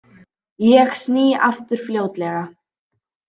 Ég sný aftur fljótlega.